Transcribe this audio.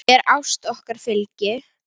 Þér ást okkar fylgi.